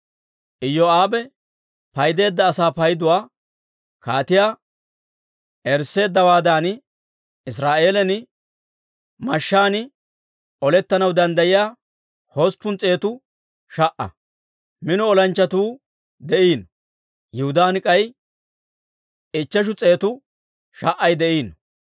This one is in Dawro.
Iyoo'aabe paydeedda asaa payduwaa kaatiyaa erisseeddawaadan Israa'eelan mashshaan olettanaw danddayiyaa hosppun s'eetu sha"a; mino olanchchatuu de'iino; Yihudaan k'ay ichcheshu s'eetu sha"ay de'iino.